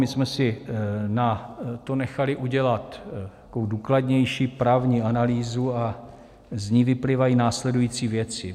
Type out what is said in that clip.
My jsme si na to nechali udělat takovou důkladnější právní analýzu a z ní vyplývají následující věci.